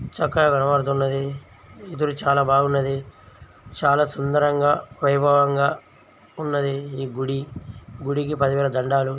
చక్కడ కనబడుతున్నది. ఈ గుడి చాలా బాగున్నది. చాలా సుందరముగా వైభవం గా ఉన్నది. ఈ గుడి గుడికి పదివేల దండాలు.